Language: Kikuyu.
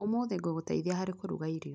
ũmũthĩ ngũgũteithia harĩ kũruga irio.